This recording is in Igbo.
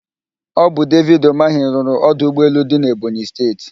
Ọ bụ David Ụmahị rụrụ ọdụ ụgbọelu dị n'Ebonyị Steeti.